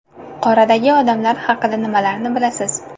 Qoradagi odamlar haqida nimalarni bilasiz?